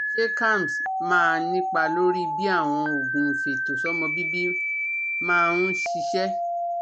Ṣé Kalms máa nípa lórí bí àwọn oògùn ifeto somo bibi máa ń ṣiṣẹ́?